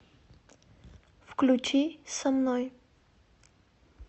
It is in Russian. включи со мной